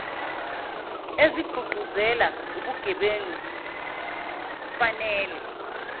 ezigqugquzela ubugebengu fanele